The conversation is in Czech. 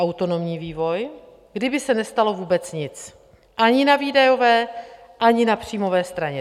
Autonomní vývoj, kdyby se nestalo vůbec nic ani na výdajové, ani na příjmové straně.